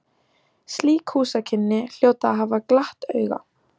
Slík húsakynni hljóta að hafa glatt auga